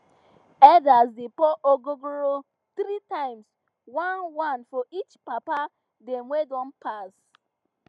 elders dey pour ogogoro three times oneone for each papa dem wey don pass